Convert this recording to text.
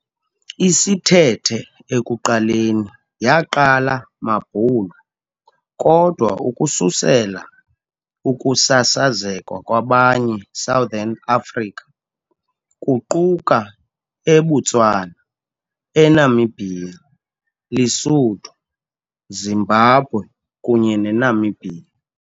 Isithethe ekuqaleni yaqala maBhulu, kodwa ukususela ukusasazeka kwabanye Southern Africa, kuquka eButswana, eNamibia, Lesotho, Zimbabwe kunye Namibia.